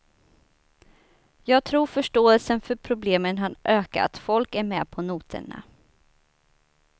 Jag tror förståelsen för problemen har ökat, folk är med på noterna.